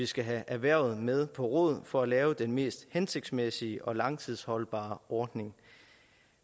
skal have erhvervet med på råd for at lave den mest hensigtsmæssige og langtidsholdbare ordning